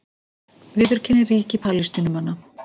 Viðurkenni ríki Palestínumanna